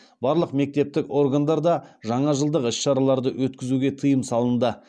барлық мемлекеттік органдарда жаңажылдық іс шараларды өткізуге тыйым салынды